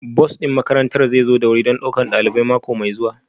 Bus ɗin makarantar zai zo da wuri don ɗaukar ɗalibai mako mai zuwa